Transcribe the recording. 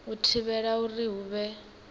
u thivhela uri hu vhe